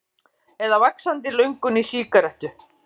Eða vaxandi löngun í sígarettu.